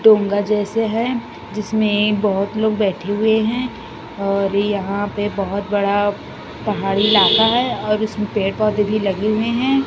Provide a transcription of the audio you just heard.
डोंगर जैसे है जिसमें बहोत लोग बैठे हुए हैं और यहाँ पे बहोत बड़ा पहाड़ी इलाका है और उसमें पेड़-पौधे भी लगे हुए हैं।